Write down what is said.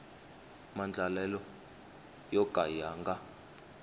maandlalelo yo ka ya nga